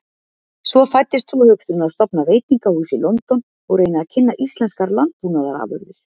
Svo fæddist sú hugsun að stofna veitingahús í London og reyna að kynna íslenskar landbúnaðarafurðir.